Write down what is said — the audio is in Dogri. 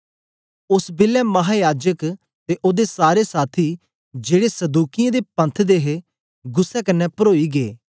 ओस बेलै महायाजक ते ओदे सारे साथी जेड़े सदूकियें दे पंथ दे हे गुस्सै कन्ने परोई गै